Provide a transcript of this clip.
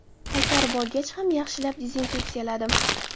Qaytarib olgach ham yaxshilab dezinfeksiyaladim.